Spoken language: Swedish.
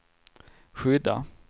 skydda